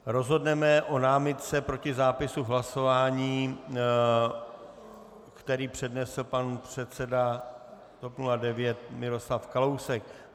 Rozhodneme o námitce proti zápisu v hlasování, kterou přednesl pan předseda TOP 09 Miroslav Kalousek.